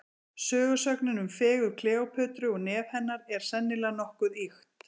Sögusögnin um fegurð Kleópötru og nef hennar, er sennilega nokkuð ýkt.